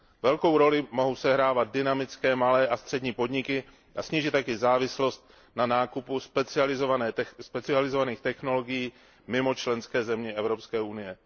Velkou roli mohou sehrávat dynamické malé a střední podniky, a snížit tak i závislost na nákupu specializovaných technologií mimo členské země Evropské unie.